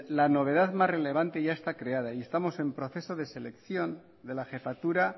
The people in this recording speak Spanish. la novedad más relevante ya está creada y estamos en proceso de selección de la jefatura